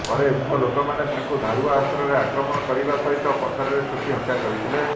ପରେ ଉକ୍ତ ଲୋକମାନେ ତାଙ୍କୁ ଧାରୁଆ ଅସ୍ତ୍ରରେ ଆକ୍ରମଣ କରିବା ସହିତ ପଥରରେ ଛେଚି ହତ୍ୟା କରିଥିଲେ